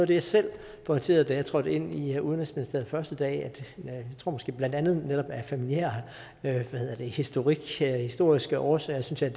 det jeg selv pointerede da jeg trådte ind i udenrigsministeriet den første dag måske blandt andet netop af familiær historik af historiske årsager synes jeg